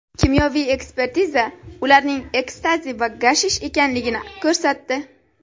Kimyoviy ekspertiza ularning ekstazi va gashish ekanligini ko‘rsatdi.